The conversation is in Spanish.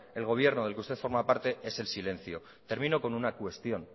el gobierno del que usted formar parte es el silencio termino con una cuestión